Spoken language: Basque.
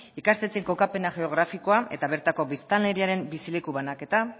ikastetxeen kokapen geografikoa eta bertako biztanleriaren bizileku banaketa